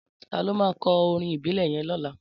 Tàló mà kò órìn ibilè yèn lòlá?